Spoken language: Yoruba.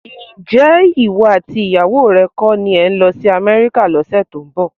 Ǹjẹ́ ìwọ àti ìyàwó rẹ kọ́ ni ẹ ń lọ sí Amẹ́ríkà lọ́sẹ̀ tó ń bọ̀?